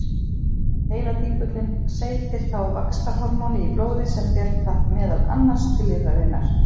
Heiladingullinn seytir þá vaxtarhormóni í blóðið sem ber það meðal annars til lifrarinnar.